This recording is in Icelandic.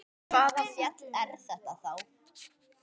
Hvaða fjall er þetta þá?